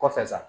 Kɔfɛ sa